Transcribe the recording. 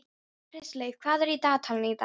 Kristleifur, hvað er á dagatalinu í dag?